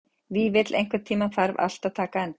Vífill, einhvern tímann þarf allt að taka enda.